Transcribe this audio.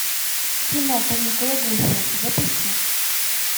кино каникулы гуфи запусти